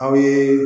Aw ye